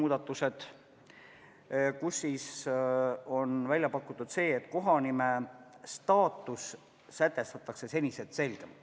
Välja on pakutud muudatus, mille järgi kohanime staatus tuleks sätestada senisest selgemalt.